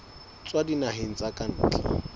tswa dinaheng tsa ka ntle